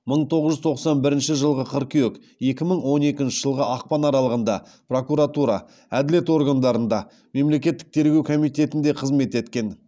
мың тоғыз жүз тоқсан бірінші жылғы қыркүйек екі мың он екінші жылғы ақпан аралығында прокуратура әділет органдарында мемлекеттік тергеу комитетінде қызмет еткен